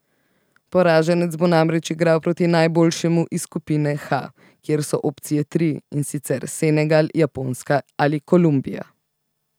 Poraženec bo namreč igral proti najboljšemu iz skupine H, kjer so opcije tri, in sicer Senegal, Japonska ali Kolumbija.